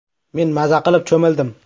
“Men maza qilib cho‘mildim.